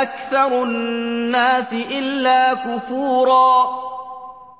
أَكْثَرُ النَّاسِ إِلَّا كُفُورًا